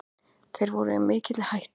Þeir voru í mikilli hættu.